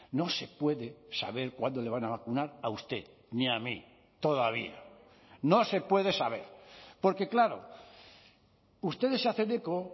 no se puede saber cuándo le van a vacunar a usted ni a mí todavía no se puede saber porque claro ustedes se hacen eco